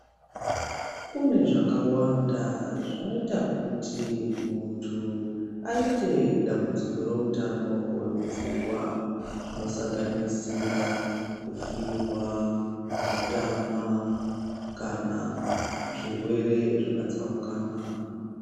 Kune zvakawanda zvinoita kuti munhu aite dambudziko reutano hwemupfungwa zvinosanganisirwa, kufirwa , kutama kana zvirwere zvakatsaukana.